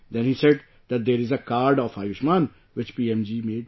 Then he said that there is a card of Ayushman which PM ji made